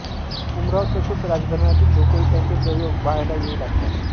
उमराव तसेच राजघराण्यातील लोकही त्याचे प्रयोग पहायला येउ लागतात